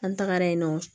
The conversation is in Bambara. An tagara yen nɔ